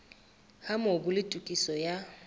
ha mobu le tokiso ya